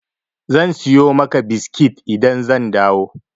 Zan siyo maka biskit idan zan dawo.